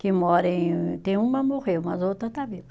Que mora em, tem uma morreu, mas a outra está viva.